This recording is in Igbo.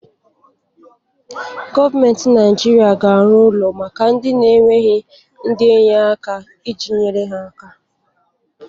Gọọmenti Naijiria ga-arụ ụlọ maka ndị na-enweghị ndi enye-aka iji nyere aka